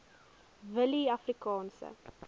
willieafrikaanse